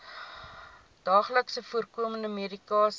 daagliks voorkomende medikasie